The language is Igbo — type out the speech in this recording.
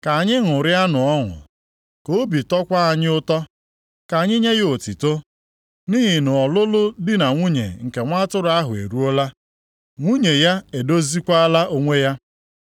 Ka anyị ṅụrịanụ ọṅụ, ka obi tọkwaa anyị ụtọ. Ka anyị nye ya otuto. Nʼihi na ọlụlụ di na nwunye nke Nwa Atụrụ ahụ eruola, nwunye ya edoziekwala onwe ya.